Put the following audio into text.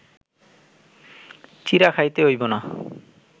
চিঁড়া খাইতে অইব না